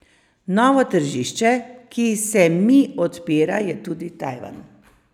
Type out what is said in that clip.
Novo tržišče, ki se mi odpira, je tudi Tajvan.